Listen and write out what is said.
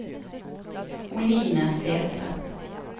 Oline Sæthre